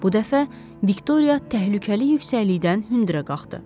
Bu dəfə Viktoriya təhlükəli yüksəklikdən hündürə qalxdı.